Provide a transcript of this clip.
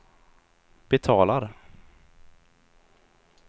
betalar